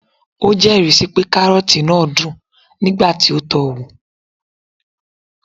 o jeri si pe karroti naa dun nigba ti o to o wo